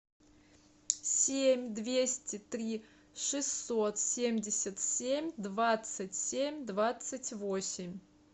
семь двести три шестьсот семьдесят семь двадцать семь двадцать восемь